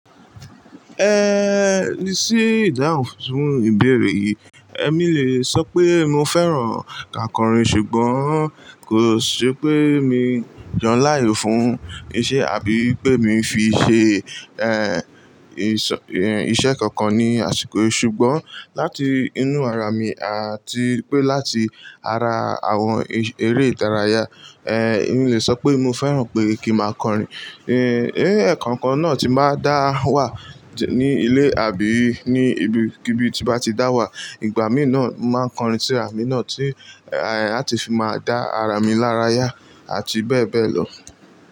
Ehn, ní sí ìdáhùn fún ìbéèrè yìí, èmi le sọ pé mo fẹ́ràn ká kọrin ṣùgbọ́n kò ṣe pé mi jọ láàyè fún iṣẹ́ àbí pé mi ń fi ṣe, ehn, iṣẹ́ kankan ní àsìkò. Ṣùgbọ́n láti inú ara mi àti pé láti ara àwọn eré ìdárayá, ehn, emi le sọ pé mo fẹ́ràn pé kí máa kọrin. Ehn, ẹ̀ẹ̀kan kan náà tí máa dá wà ní ilé àbí ní ibi kíbi tí bá ti dá wà. Ìgbà mìíràn máa ń kọrin sí ara mi náà tí, làti fi máa dá ara mi lára yá àti bẹ́ẹ̀ bẹ́ẹ̀ lọ.